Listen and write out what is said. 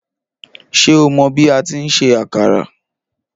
Ṣé o mọ bi atí ń se àkàrà?